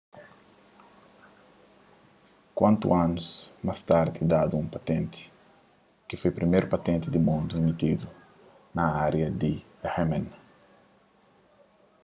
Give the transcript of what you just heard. kuatu anus más tardi dadu un patenti ki foi priméru patenti di mundu imitidu na ária di rmn